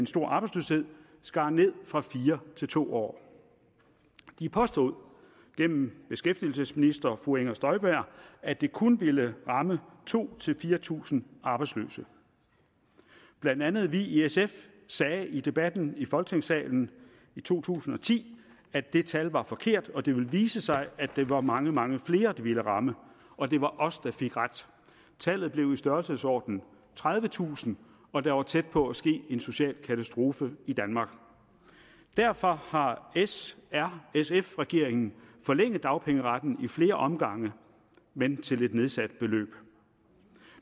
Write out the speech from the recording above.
stor arbejdsløshed skar ned fra fire til to år de påstod gennem den beskæftigelsesminister fru inger støjberg at det kun ville ramme to tusind fire tusind arbejdsløse blandt andet vi i sf sagde i debatten i folketingssalen i to tusind og ti at det tal var forkert og at det ville vise sig at der var mange mange flere det ville ramme og det var os der fik ret tallet blev i størrelsesordenen tredivetusind og der var tæt på at ske en social katastrofe i danmark derfor har s r sf regeringen forlænget dagpengeretten i flere omgange men til et nedsat beløb